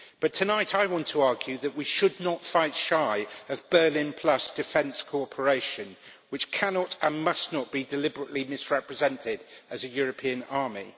Tonight I want to argue that we should not fight shy of Berlin Plus defence cooperation, which cannot, and must not, be deliberately misrepresented as a European army.